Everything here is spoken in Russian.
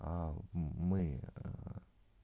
а мы